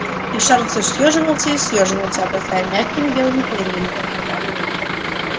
и шар все съёживался и съёживался обрастая мягкими белыми перьями